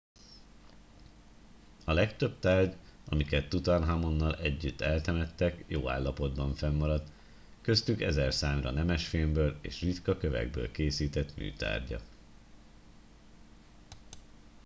a legtöbb tárgy amiket tutanhamonnal együtt eltemettek jó állapotban fennmaradt köztük ezerszámra nemesfémből és ritka kövekből készített műtárgyak